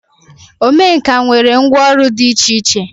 Omenkà nwere ngwọ ọrụ dị iche iche.